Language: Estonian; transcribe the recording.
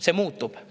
See muutub.